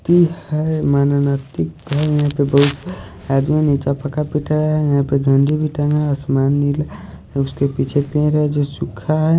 ती हैं मन नैतिक हैं यहाँ पे बहोत आदमी निचे पड़ा है यहाँ पे जो आसमान नीला हैं उसके पीछे पेड़ हैं जो सूखा हैं।